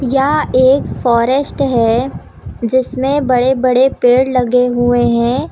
यह एक फॉरेस्ट है जिसमें बड़े बड़े पेड़ लगे हुए हैं।